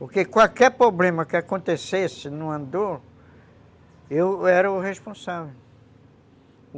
Porque qualquer problema que acontecesse no andor, eu era o responsável.